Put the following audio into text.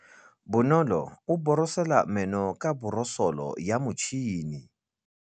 Bonolô o borosola meno ka borosolo ya motšhine.